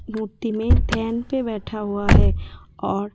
मूर्ति में धैन पे बैठा हुआ है और--